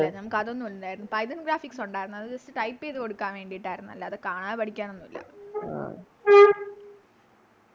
ആയില്ല നമുക്കതൊന്നും ഇല്ലാരുന്നു Python graphics ഒണ്ടാരുന്നു അത് Just type ചെയ്ത കൊടുക്കാൻ വേണ്ടീട്ടാരുന്നു അല്ലാതെ കാണാതെ പഠിക്കാനൊന്നും ഇല്ല